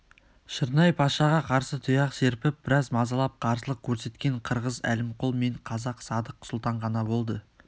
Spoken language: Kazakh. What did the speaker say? шырнай-пашаға қарсы тұяқ серпіп біраз мазалап қарсылық көрсеткен қырғыз әлімқұл мен қазақ садық сұлтан ғана болды